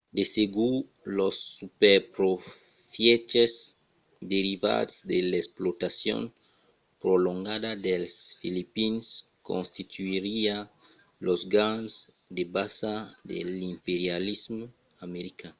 de segur los superprofièches derivats de l'explotacion prolongada dels filipins constituiriá los ganhs de basa de l'imperialisme american